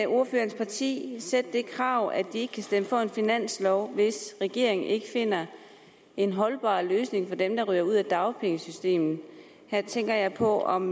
ordførerens parti stille det krav at de ikke kan stemme for en finanslov hvis regeringen ikke finder en holdbar løsning for dem der ryger ud af dagpengesystemet her tænker jeg på om